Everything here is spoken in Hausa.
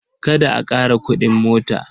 Kada a ƙara kuɗin mota.